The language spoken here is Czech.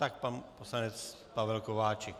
Tak pan poslanec Pavel Kováčik.